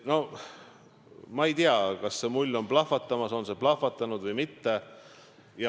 Noh ma ei tea, kas see mull on plahvatamas, on see plahvatanud või mitte.